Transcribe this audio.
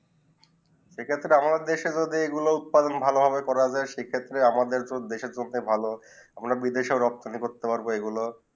এই ক্ষেত্রে আমাদের দেশে গুলু উৎপাদন ভালো ভাবে করা যায় সেই ক্ষেত্রে আমাদের আমাদের দেশে করতে ভালো আমরা বিদেশে রব খানি করতে পারবো এই গুলু